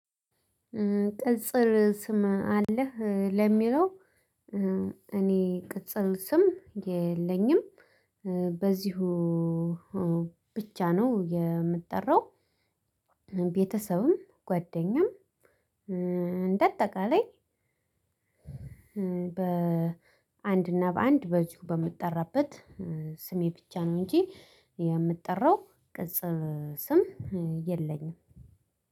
ቅጽል ስም አለህ ለሚለው? እኔ ቅጽል ስም የለኝም። በዚሁ ብቻ ነው የምጠራው። ቤተሰብም ጓደኛም እንደአጠቃላይ በአንድና በአንድ በዚሁ በምጠራበት ስሜ ብቻ ነው እንጂ። የምጠራው ቅጽል ስም የለኝም።